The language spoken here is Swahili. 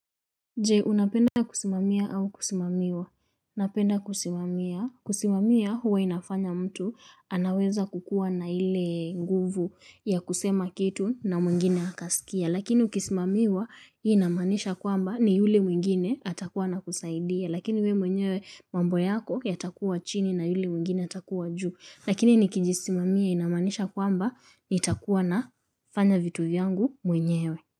Je, unapenda kusimamia au kusimamiwa? Napenda kusimamia. Kusimamia huwa inafanya mtu anaweza kukua na ile nguvu ya kusema kitu na mwingine akasikia. Lakini ukisimamiwa hiyo inamaanisha kwamba ni yule mwingine atakuwa anakusaidia. Lakini we mwenyewe mambo yako yatakuwa chini na yule mwingine atakuwa juu. Lakini nikijisimamia inamaanisha kwamba nitakuwa nafanya vitu vyangu mwenyewe.